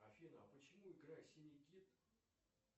афина а почему игра синий кит